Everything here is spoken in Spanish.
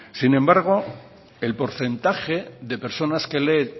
sin embargo el porcentaje de personas que leen